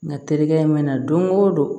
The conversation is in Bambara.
Nga terikɛ mana don o don